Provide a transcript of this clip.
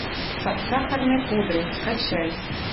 под сахарной пудрой скачай